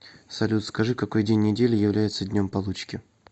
салют скажи какой день недели является днем получки